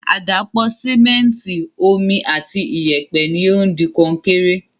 Àdàpọ̀ Sìmẹ́ntìì, Omi ati iyẹ̀pẹ̀ ni o di Kọnkéré